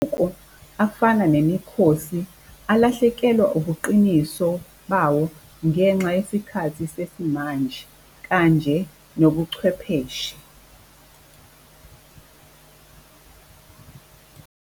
Afana nemikhosi alahlekelwa ubuqiniso bawo ngenxa yesikhathi sesimanje kanje nobuchwepheshe.